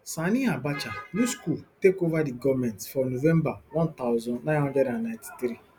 sani abacha use coup take ova di goment for november one thousand, nine hundred and ninety-three